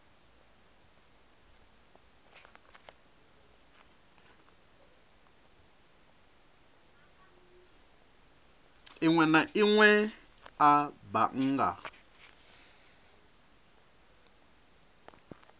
inwe na inwe a bannga